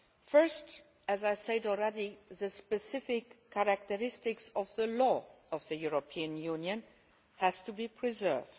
First, as I said already, the specific characteristics of the law of the European Union have to be preserved